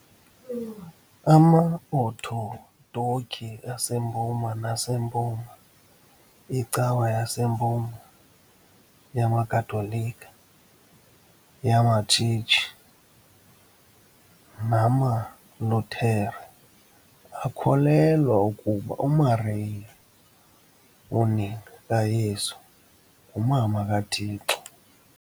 AmaOthodoki aseMpuma naseMpuma, iCawa yaseMpuma, yamaKatolika, yamaTshetshi namaLuthere akholelwa ukuba uMariya, unina kaYesu, nguMama kaThixo .